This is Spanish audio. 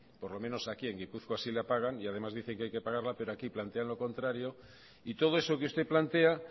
por lo menos aquí en gipuzkoa sí la pagan y además dice que hay que pagarla pero aquí plantean lo contrario y todo eso que usted plantea